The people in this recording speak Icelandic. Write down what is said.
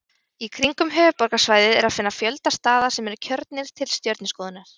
Í kringum höfuðborgarsvæðið er að finna fjölda staða sem eru kjörnir til stjörnuskoðunar.